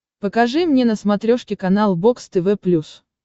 покажи мне на смотрешке канал бокс тв плюс